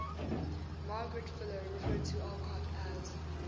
margaret fuller referred to alcott as